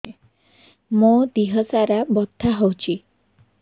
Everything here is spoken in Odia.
ମୋ ଦିହସାରା ବଥା ହଉଚି